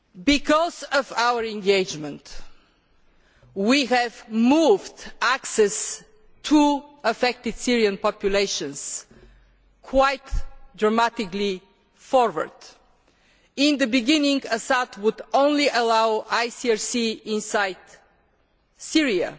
Because of our engagement, we have moved access to affected Syrian populations quite dramatically forward. In the beginning, Assad would allow only the ICRC inside Syria.